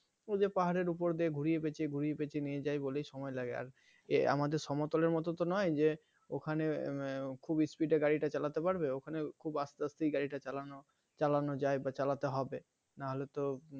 ওই যে পাহাড়ের উপর দিয়ে ঘুরিয়ে পেঁচিয়ে ঘুরিয়ে পেঁচিয়ে নিয়ে যায় বলেই সময় লাগে আর আমাদের সমতলের মতো তো নয় যে ওখানে উম খুব Speed এ গাড়ি টা চালাতে পারবে ওখানে খুব আস্তে আস্তেই গাড়িটা চালানো চালানো যায় বা চালাতে হবে নাহলে তো